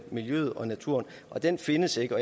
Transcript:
miljøet og naturen og den findes ikke